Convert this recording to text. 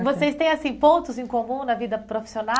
E vocês têm assim pontos em comum na vida profissional?